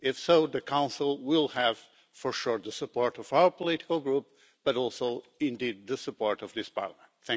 If so, the Council will have for sure the support of our political group but also indeed the support of this Parliament.